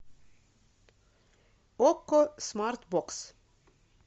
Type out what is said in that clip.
окко смарт бокс